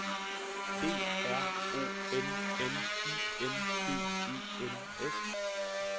D R O N N I N G E N S